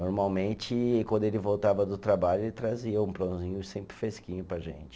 Normalmente, quando ele voltava do trabalho, ele trazia um pãozinho sempre fresquinho para a gente.